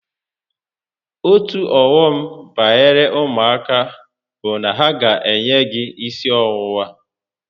Otu ọghọm banyere ụmụaka bụ na ha ga enye gị gi isi ọwụwa